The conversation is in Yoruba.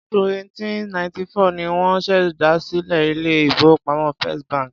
Ọdún 1894 ni wọ́n ṣèdásílẹl ilé-ìfowópamọ́ First bank.